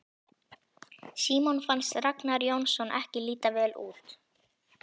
Símoni fannst Ragnar Jónsson ekki líta vel út.